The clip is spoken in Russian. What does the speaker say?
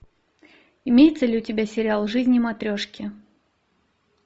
имеется ли у тебя сериал жизни матрешки